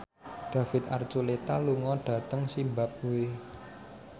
David Archuletta lunga dhateng zimbabwe